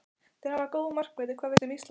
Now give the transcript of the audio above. Þeir hafa góða markverði Hvað veistu um Ísland?